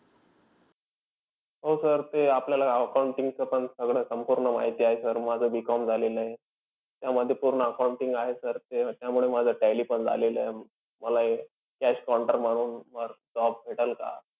हो sir ते आपल्याला accounting चं पण सगळं संपूर्ण माहिती आहे sir. माझं B. Com झालेलयं. त्यामधी पूर्ण accounting आहे sir त्याच्यामुळे माझं tally पण झालेलं आहे. मला हे cash counter म्हणून वर job भेटेल का?